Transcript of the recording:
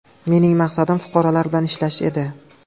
Mening maqsadim fuqarolar bilan ishlash edi.